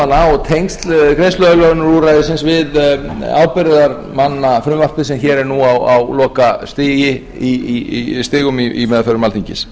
rétt sinn nefndin fjallaði einnig um stöðu ábyrgðarmanna og tengsl greiðsluaðlögunarúrræðisins við ábyrgðarmannafrumvarpið sem hér er nú á lokastigum í meðförum alþingis